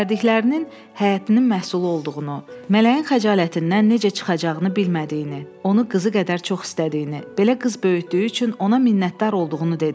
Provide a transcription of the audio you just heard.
Göndərdiklərinin həyətinin məhsulu olduğunu, Mələyin xəcalətindən necə çıxacağını bilmədiyini, onu qızı qədər çox istədiyini, belə qız böyütdüyü üçün ona minnətdar olduğunu dedi.